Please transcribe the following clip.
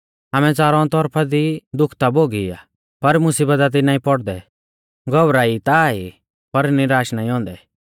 आमै च़ारौ तौरफा दी दुःख ता भोगी आ पर मुसीबता दी नाईं पौड़दै घौबरा ई ता ई पर निराश नाईं औन्दै